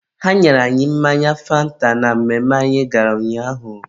ha nyere anyị mmanya fanta na mmemme anyị gara ụnyaahụ.